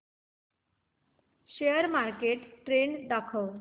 share market trend दाखव